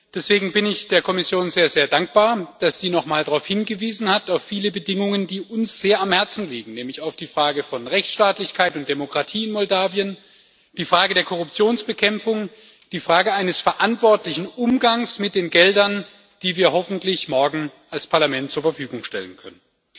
Deswegen bin ich der Kommission sehr, sehr dankbar, dass sie noch mal auf viele Bedingungen hingewiesen hat, die uns sehr am Herzen liegen, nämlich auf die Frage von Rechtsstaatlichkeit und Demokratie in Moldau, die Frage der Korruptionsbekämpfung, die Frage eines verantwortlichen Umgangs mit den Geldern, die wir hoffentlich morgen als Parlament zur Verfügung stellen können.